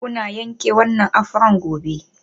Kuna yanke wannan afro gobe.